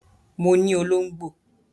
Mo ní olóngbò